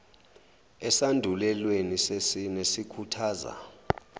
esandulelweni sesine sikhuthaza